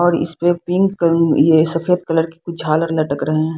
और इस पे पिंक ये सफेद कलर की झालर लटक रहे हैं।